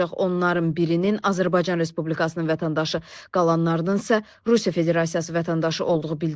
Onların birinin Azərbaycan Respublikasının vətəndaşı, qalanlarının isə Rusiya Federasiyası vətəndaşı olduğu bildirilib.